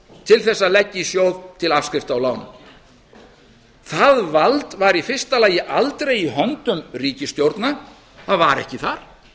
til að leggja í sjóð til afskrifta af ánum það vald var í fyrsta lagi aldrei í höndum ríkisstjórna það var ekki þar